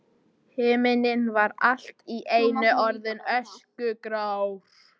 Himinninn var allt í einu orðinn öskugrár.